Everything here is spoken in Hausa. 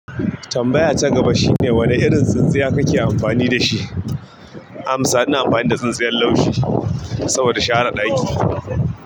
Tambaya ta gaba shine wani irin tsintsiya kake amfani dashi? Amsa, ina amfani da tsintsiyan laushi saboda share ɗaki.